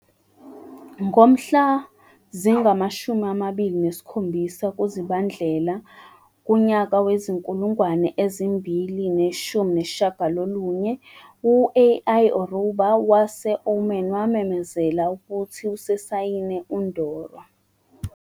Ngomhla zingama-27 kuZibandlela wezi-2019, u-Al-Orouba wase- Oman wamemezela ukuthi usesayine uNdoro.